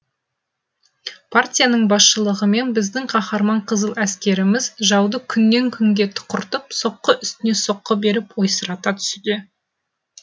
партияның басшылығымен біздің қаһарман қызыл әскеріміз жауды күннен күнге тұқыртып соққы үстіне соққы беріп ойсырата түсуде